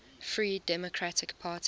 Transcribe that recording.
free democratic party